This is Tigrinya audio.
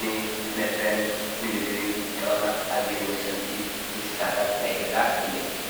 ንመፍረን ንምግብን ዝጠቅማ ወሰንቲ እንስሳታት ናይገዛ እየን።